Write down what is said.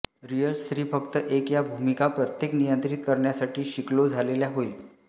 real स्त्री फक्त एक या भूमिका प्रत्येक नियंत्रित करण्यासाठी शिकलो झालेल्या होईल